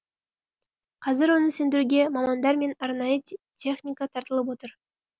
қазір оны сөндіруге мамандар мен арнайы техника тартылып отыр